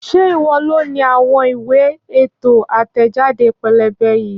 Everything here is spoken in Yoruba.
Ṣé ìwọ loni àwọn ìwé ètò àtẹ̀jáde pẹ́lẹ́bẹ́ yìí?